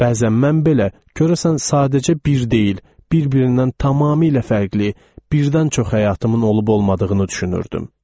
bəzən mən belə görəsən sadəcə bir deyil, bir-birindən tamamilə fərqli, birdən çox həyatımın olub-olmadığını düşünürdüm.